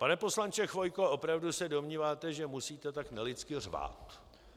Pane poslanče Chvojko, opravdu se domníváte, že musíte tak nelidsky řvát?